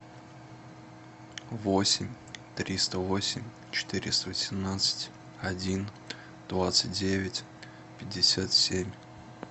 восемь триста восемь четыреста восемнадцать один двадцать девять пятьдесят семь